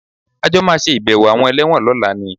A jọ máa ṣe ìbẹ̀wò àwọn ẹlẹ́wọ̀n lọ́la ni